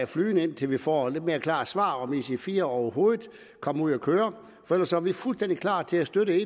flydende indtil vi får et lidt mere klart svar på om ic4 overhovedet kommer ud at køre for ellers er vi fuldstændig klar til at støtte